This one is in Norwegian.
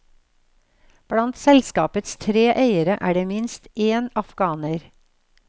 Blant selskapets tre eiere er det minst én afghaner.